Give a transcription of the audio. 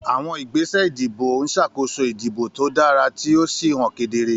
Àwọn ìgbésẹ̀ ìdìbò ń ṣàkóso ìdìbò tó dára tí ó sì hàn kedere.